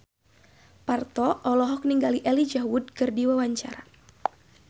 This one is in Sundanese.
Parto olohok ningali Elijah Wood keur diwawancara